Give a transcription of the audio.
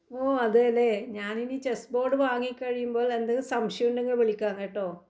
ഓ അതേലെ ഞാനിനി chess board വാങ്ങി കഴിയുമ്പോൾ എന്തെങ്കിലും സംശയം ഉണ്ടെങ്കിൽ വിളിക്കാം കേട്ടോ